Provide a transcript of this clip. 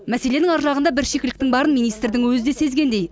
мәселенің ар жағында бір шикіліктің барын министрдің өзі де сезгендей